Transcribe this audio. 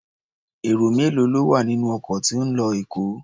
Èrò mélòó ló wà nínú ọkọ̀ tí ń lọ Èkó?